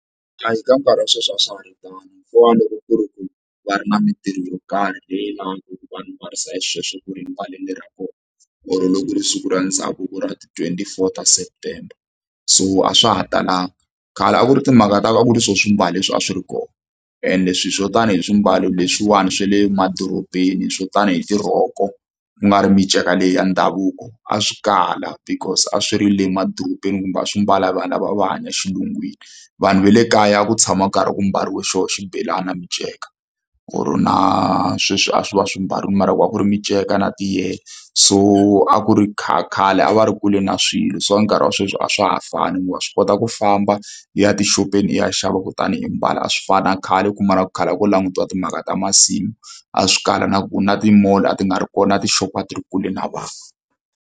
Hayi ka nkarhi wa sweswi a swa ha ri tano hikuva loko ku ri ku va ri na mitirho yo karhi leyi lavaka ku va mbaririsa xisweswo ku ri mbalele ra kona or loko ri siku ra ndhavuko ra t twenty four ta September so a swa ha talanga. Khale a ku ri timhaka ta ku ri swilo swi mbala leswi a swi ri kona ende swi hi swo tanihi swimbalo leswiwani swa le madorobeni swo tanihi tirhoko ku nga ri miceka leyi ya ndhavuko a swi kala because a swi ri le emadorobeni kumbe a swi mbala vanhu lava va hanya xilungwini vanhu va le kaya a ku tshama nkarhi wa ku mbariwa xo xibelani na miceka or na sweswi a swi va swi mbarile mara ku a ku ri minceka na tiyele so a ku ri khale a va ri kule na swilo swa nkarhi wa sweswi a a swa ha fani hikuva wa swi kota ku famba yi ya tixopeni i ya xava kutani hi mbala a swi fani na khale u kuma na ku khale a ku langutiwa timhaka ta masimu a swikala na ku na ti-mall a ti nga ri kona tixopo a ti ri kule na vanhu.